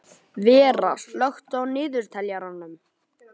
Vera, slökktu á niðurteljaranum.